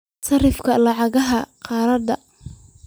sarrifka lacagaha qalaad